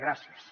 gràcies